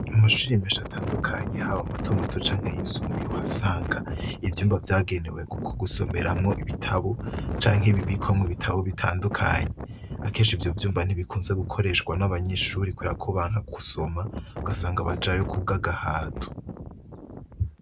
Mushimisha atandukanyi hawe amatomato canke yisumbuye uhasanga ivyumba vyagenewe, kuko gusomeramwo ibitabo canke ibibikwamwo ibitabo bitandukanyi akesha ivyo vyumba ntibikunze gukoreshwa n'abanyishuri korakubanka kusoma ugasanga abajayo kubwo agahatu.